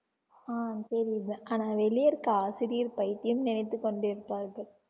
ஆஹ் தெரியுது ஆனா வெளியே இருக்க ஆசிரியர் பைத்தியம் நினைத்துக் கொண்டிருப்பார்கள்